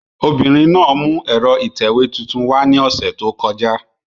Obìnrin náà mú ẹ̀rọ ìtẹ̀wé tuntun wá ni ose to koja